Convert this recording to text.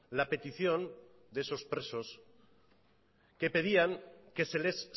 la petición de esos presos que pedían que se les